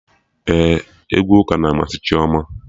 Ee, egwu ụka na amasị Chioma